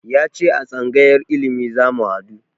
Ya ce a tsangayar ilimi zamu haɗu